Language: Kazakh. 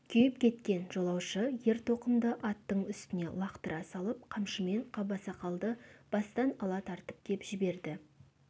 күйіп кеткен жолаушы ер-тоқымды аттың үстіне лақтыра салып қамшымен қабасақалды бастан ала тартып кеп жіберді